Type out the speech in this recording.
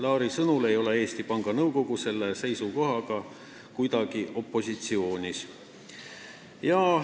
Laari sõnul ei ole Eesti Panga Nõukogu selle seisukohaga kuidagi opositsioonis.